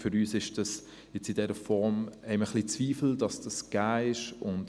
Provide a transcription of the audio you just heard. Ob es in dieser Form gegeben ist, daran haben wir gewisse Zweifel.